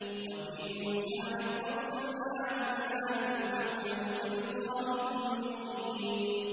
وَفِي مُوسَىٰ إِذْ أَرْسَلْنَاهُ إِلَىٰ فِرْعَوْنَ بِسُلْطَانٍ مُّبِينٍ